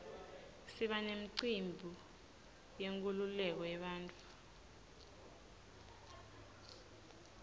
siba nemicimbi yenkululeko yebantfu